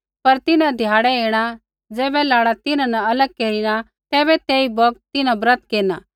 पर तिन्हां ध्याड़ै ऐणा ज़ैबै लाड़ा तिन्हां न अलग केरिना तैबै तेई बौगत तिन्हां ब्रत केरना